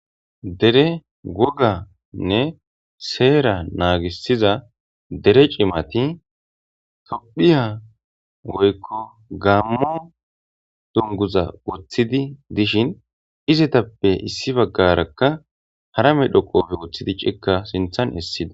Dere woganne seeraa naagissiza dere cimathi tophphiya woykko gaammo dungguza woththidi dishin izithappe issi baggaarakka hara medho qoofe woththidi ciikkaa sinththan essida.